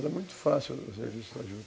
Era muito fácil o serviço da juta.